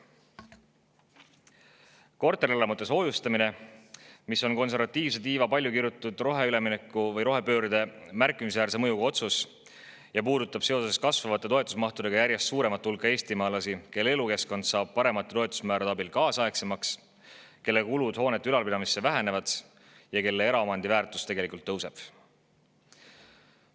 Korterelamute soojustamine, mis on konservatiivse tiiva palju kirutud roheülemineku või rohepöörde märkimisväärse mõjuga otsus, puudutab seoses kasvavate toetusmahtudega järjest suuremat hulka eestimaalasi, kelle elukeskkond saab paremate toetusmäärade abil kaasaegsemaks, kelle kulutused hoonete ülalpidamiseks vähenevad ja kelle eraomandi väärtus tegelikult tõuseb.